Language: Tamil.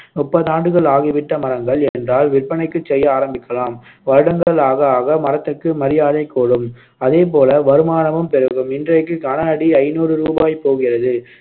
முப்பது ஆண்டுகள் ஆகிவிட்ட மரங்கள் என்றால் விற்பனைக்குச் செய்ய ஆரம்பிக்கலாம் வருடங்கள் ஆக ஆக மரத்துக்கு மரியாதைக் கூடும் அதேபோல வருமானமும் பெருகும் இன்றைக்கு கனஅடி ஐநூறு ரூபாய் போகிறது